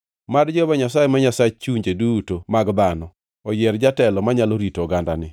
“Mad Jehova Nyasaye, ma Nyasach chunje duto mag dhano, oyier jatelo manyalo rito ogandani